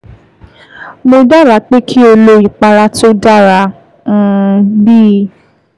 Mo dábàá pé kí o lo ìpara tó dara um b